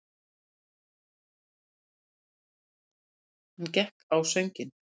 Hann gekk á sönginn.